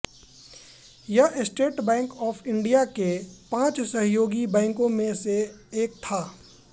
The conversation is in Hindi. यह स्टेट बैंक ऑफ इंडिया के पांच सहयोगी बैंकों में से एक था